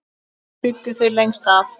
Þar bjuggu þau lengst af.